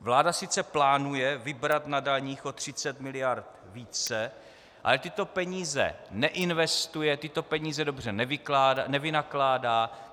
Vláda sice plánuje vybrat na daních o 30 mld. více, ale tyto peníze neinvestuje, tyto peníze dobře nevynakládá.